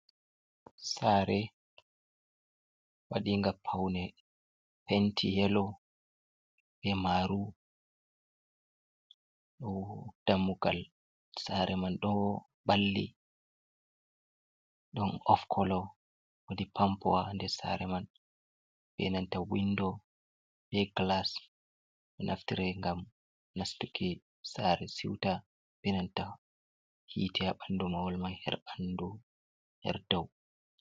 Saare waɗiinga pawne penti "yelo" bee "maaru" ɗo dammugal saare man ɗon balli ɗon "of kolo" woodi pampowa ha nder saare man bee nanta "windo" bee "gilas" ɗo naftire ngam nastuki saare siwta bee nanta hiite ha ɓanndu mahol man her ɓanndu her dow.